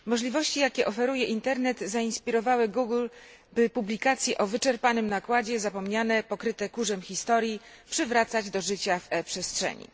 Pani przewodnicząca! Możliwości, jakie oferuje Internet, zainspirowały Google, by publikacje o wyczerpanym nakładzie, zapomniane, pokryte kurzem historii przywracać do życia w e przestrzeni.